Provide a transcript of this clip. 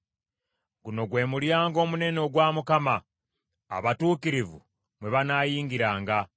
Guno gwe mulyango omunene ogwa Mukama , abatuukirivu mmwe banaayingiriranga.